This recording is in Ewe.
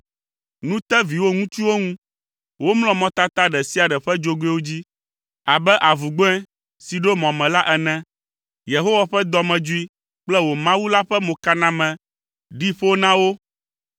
Nu te viwò ŋutsuwo ŋu. Womlɔ mɔtata ɖe sia ɖe ƒe dzogoewo dzi abe avugbɔ̃e si ɖo mɔ me la ene. Yehowa ƒe dɔmedzoe kple wò Mawu la ƒe mokaname ɖi ƒo na wo,